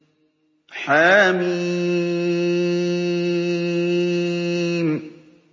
حم